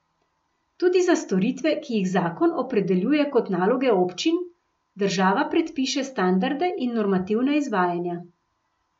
Tudi za storitve, ki jih zakon opredeljuje kot naloge občin, država predpiše standarde in normativna izvajanja.